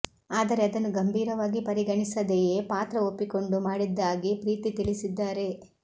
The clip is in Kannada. ಆದರೆ ಅದನ್ನು ಗಂಭೀರವಾಗಿ ಪರಿಗಣಿಸದೆಯೇ ಪಾತ್ರ ಒಪ್ಪಿಕೊಂಡು ಮಾಡಿದ್ದಾಗಿ ಪ್ರೀತಿ ತಿಳಿಸಿದ್ದಾರೆ